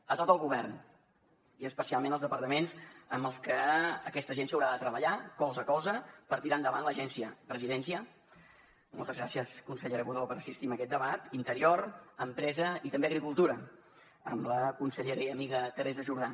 a tot el govern i especialment als departaments amb els que aquesta agència haurà de treballar colze a colze per tirar endavant l’agència presidència moltes gràcies consellera budó per assistir a aquest debat interior empresa i també agricultura amb la consellera i amiga teresa jordà